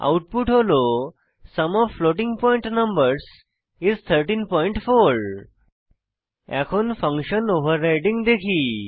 output হল sum of floating point numbers is 134 এখন function overriding দেখি